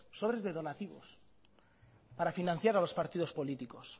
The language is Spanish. sobres de donativos para financiar a los partidos políticos